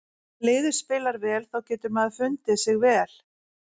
Þegar liðið spilar vel þá getur maður fundið sig vel.